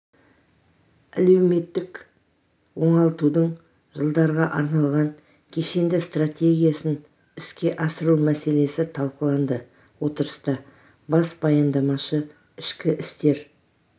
әлеуметтік оңалтудың жылдарға арналған кешенді стратегиясын іске асыру мәселесі талқыланды отырыста бас баяндамашы ішкі істер